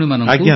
ଆଜ୍ଞା ସାର୍